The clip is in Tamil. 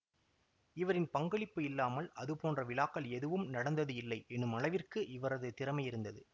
இவரின் பங்களிப்பு இல்லாமல் அதுபோன்ற விழாக்கள் எதுவும் நடந்தது இல்லை எனுமளவிற்கு இவரது திறமை இருந்தது